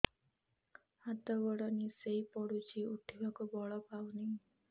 ହାତ ଗୋଡ ନିସେଇ ପଡୁଛି ଉଠିବାକୁ ବଳ ପାଉନି